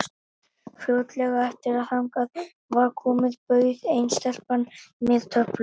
Fljótlega eftir að þangað var komið bauð ein stelpan mér töflu.